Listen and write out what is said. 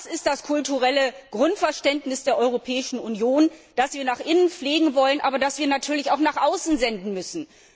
Das ist das kulturelle Grundverständnis der Europäischen Union, das wir nach innen pflegen wollen, aber das wir natürlich auch nach außen senden müssen.